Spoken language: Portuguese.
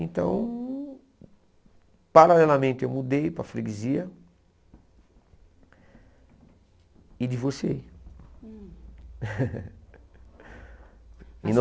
Então, paralelamente eu mudei para a freguesia e divorciei. E no